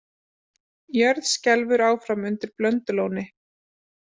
Jörð skelfur áfram undir Blöndulóni